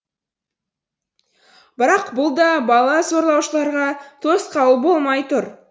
бірақ бұл да бала зорлаушыларға тосқауыл болмай тұр